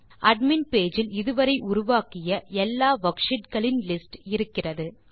admin page இல் இது வரை உருவாக்கிய எல்லா வர்க்ஷீட் களின் லிஸ்ட் இருக்கிறது